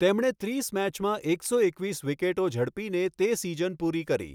તેમણે ત્રીસ મેચમાં એકસો એકવીસ વિકેટો ઝડપીને તે સીઝન પૂરી કરી.